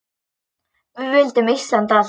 Við vildum Íslandi allt!